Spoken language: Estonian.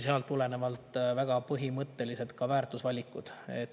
Sealt tulenevad väga põhimõttelised väärtusvalikud.